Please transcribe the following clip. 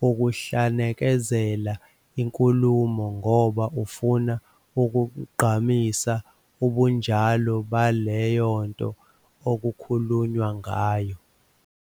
wukuhlanekezela inkulumo ngoba ufuna ukugqamisa ubunjalo baleyo nto okukhulunywa ngayo."